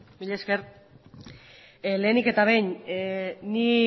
mila esker lehenik eta behin ni